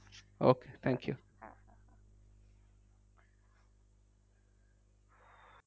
Okay thank you.